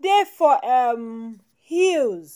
dey for um hills